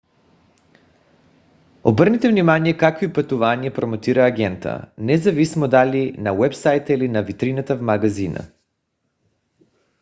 обърнете внимание какви пътувания промотира агентът независимо дали на уебсайта или на витрината в магазина